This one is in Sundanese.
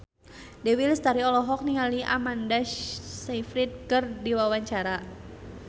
Dewi Lestari olohok ningali Amanda Sayfried keur diwawancara